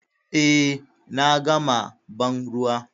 Eh, na gama banruwa.